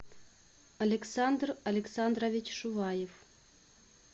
александр александрович шуваев